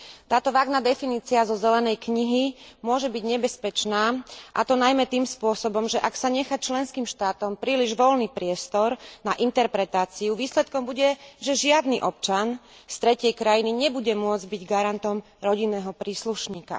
Táto vágna definícia zo zelenej knihy môže byť nebezpečná, a to najmä tým spôsobom, že ak sa nechá členským štátom príliš voľný priestor na interpretáciu, výsledkom bude, že žiadny občan z tretej krajiny nebude môcť byť garantom rodinného príslušníka.